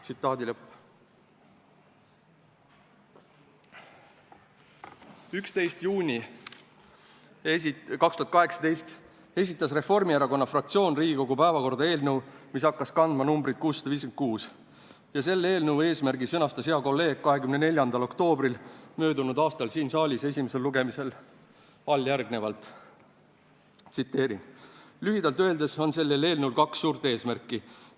" 11. juunil 2018 esitas Reformierakonna fraktsioon Riigikogu päevakorda eelnõu, mis hakkas kandma numbrit 656 ja mille eesmärgi sõnastas hea kolleeg möödunud aasta 24. oktoobril siin saalis peetud esimesel lugemisel järgmiselt: "Lühidalt öeldes on sellel eelnõul kaks suurt eesmärki.